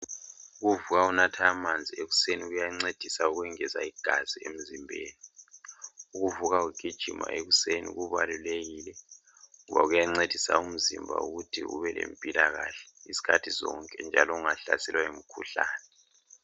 Ukuvuka unatha amanzi ekuseni kuyancedisa ukengezelele igazi emzimbeni. ukuvuka ugijima ekuseni kubalilekile, ngoba kuyancedisa umzimba ukuthi ube lempilakahle isikhathi sonke njalo ungahlaselwa yimikhublane.